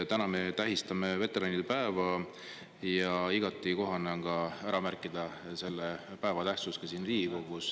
Täna me tähistame veteranide päeva ja igati kohane on ka ära märkida selle päeva tähtsust ka siin Riigikogus.